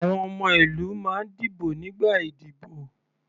Àwọn ọmọ ìlú máa ń dìbò nígbà ìdíbò.